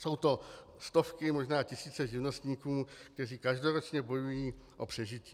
Jsou to stovky, možná tisíce živnostníků, kteří každoročně bojují o přežití.